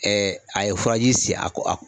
a ye furaji si a ko